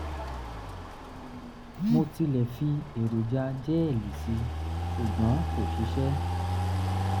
mo tilẹ̀ fi èròjà jẹ́ẹ̀lì sí i ṣùgbọ́n kò ṣiṣẹ́